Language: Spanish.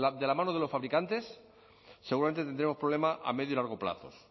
de la mano de los fabricantes seguramente tendremos problemas a medio y largo plazos